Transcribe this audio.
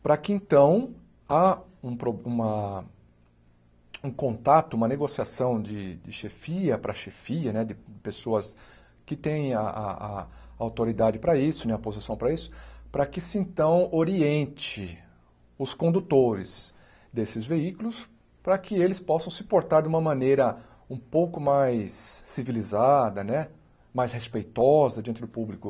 para que, então, há uma um contato, uma negociação de chefia para chefia né, de pessoas que têm a a autoridade para isso, a posição para isso, para que se, então, oriente os condutores desses veículos, para que eles possam se portar de uma maneira um pouco mais civilizada né, mais respeitosa diante do público,